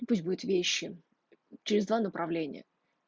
пусть будет вещи через два направления